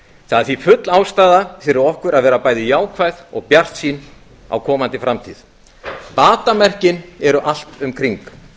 það er því full ástæða fyrir okkur að vera bæði jákvæð og bjartsýn á komandi framtíð batamerkin eru allt um kring